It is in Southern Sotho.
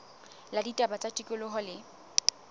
la ditaba tsa tikoloho le